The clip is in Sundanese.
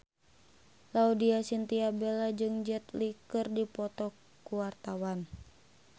Laudya Chintya Bella jeung Jet Li keur dipoto ku wartawan